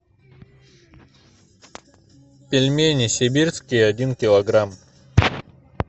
пельмени сибирские один килограмм